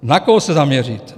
Na koho se zaměřit?